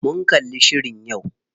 Mun kalli shirin yau.